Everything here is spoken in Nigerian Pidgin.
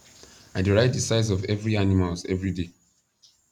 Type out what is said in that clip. i dey write the size of every animals everyday